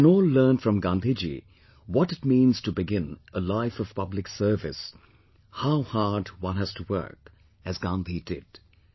We can all learn from Gandhi Ji what it means to begin a life of public service, how hard one has to work, as Gandhi did